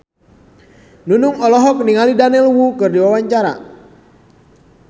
Nunung olohok ningali Daniel Wu keur diwawancara